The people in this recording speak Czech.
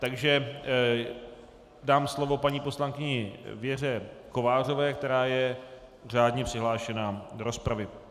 Takže dám slovo paní poslankyni Věře Kovářové, která je řádně přihlášená do rozpravy.